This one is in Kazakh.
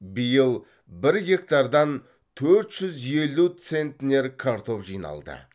биыл бір гектардан төрт жүз елу центнер картоп жиналды